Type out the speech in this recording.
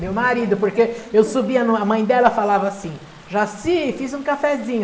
Meu marido, porque eu subia no, a mãe dela falava assim, Jaci, fiz um cafezinho.